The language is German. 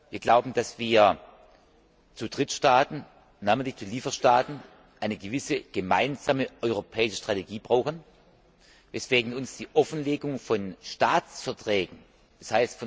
Wir glauben, dass wir zu Drittstaaten namentlich zu Lieferstaaten eine gewisse gemeinsame europäische Strategie brauchen, weswegen uns die Offenlegung von Staatsverträgen, d.